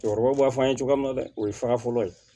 Cɛkɔrɔbaw b'a fɔ an ye cogoya min na dɛ o ye fa fɔlɔ ye